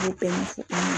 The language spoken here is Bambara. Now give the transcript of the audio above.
O bɛɛ ɲɛfɔ